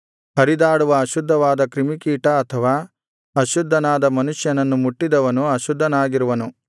ಹರಿದಾಡುವ ಅಶುದ್ಧವಾದ ಕ್ರಿಮಿಕೀಟ ಅಥವಾ ಅಶುದ್ಧನಾದ ಮನುಷ್ಯನನ್ನು ಮುಟ್ಟಿದವನು ಅಶುದ್ಧನಾಗಿರುವನು